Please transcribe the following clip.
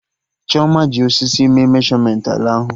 Chioma ji osisi mee meshọmentị ala ahụ